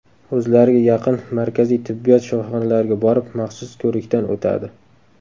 O‘zlariga yaqin markaziy tibbiyot shifoxonalariga borib maxsus ko‘rikdan o‘tadi.